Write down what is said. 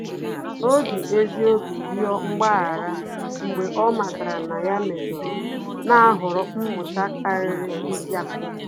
Ọ́ jì ezi obi rịọ mgbaghara mgbe ọ́ màtàrà na yá méjọ̀rọ̀, nà-àhọ̀rọ́ mmụta kàrị́rị́ mpíákọ́.